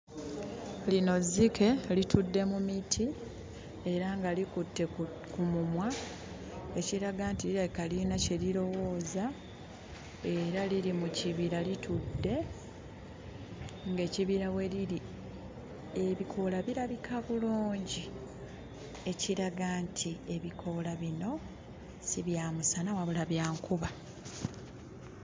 Lino zzike litudde mu miti era nga likutte ku ku mumwa ekiraga nti lirabika lirina kye lirowooza era liri mu kibira litudde ng'ekibira we liri ebikoola birabika bulungi ekiraga nti ebikoola bino si bya musana wabula bya nkuba.